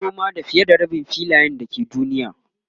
ana noma da fiye da Rabin filayen da ke duniya